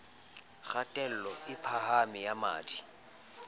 kgatello e phahameng ya madi